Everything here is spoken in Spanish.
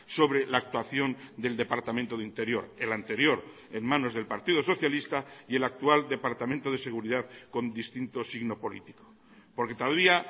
sobre la actuación del departamento de interior el anterior en manos del partido socialista y el actual departamento de seguridad con distinto signo político porque todavía